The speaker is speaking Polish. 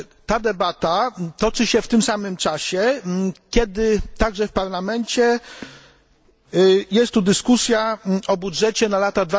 Ta debata toczy się w tym samym czasie, kiedy także w Parlamencie jest tu dyskusja o budżecie na lata